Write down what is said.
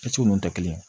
Ci ninnu tɛ kelen ye